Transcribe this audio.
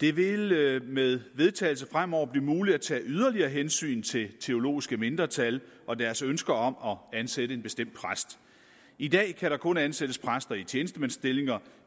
det vil med vedtagelse fremover blive muligt at tage yderligere hensyn til teologiske mindretal og deres ønsker om at ansætte en bestemt præst i dag kan der kun ansættes præster i tjenestemandsstillinger